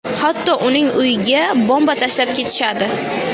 Hatto uning uyiga bomba tashlab ketishadi.